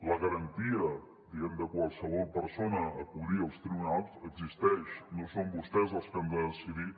la garantia de qualsevol persona a acudir als tribunals existeix no són vostès els que han de decidir